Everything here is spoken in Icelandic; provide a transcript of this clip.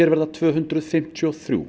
verða tvö hundruð fimmtíu og þrjú